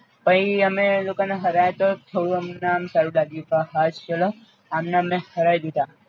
પઈ અમે એ લોકો ને હરાય તો થોડું અમને આમ સારું લાગ્યું ક હાશ ચાલો આમને અમે હરાઈ દીધા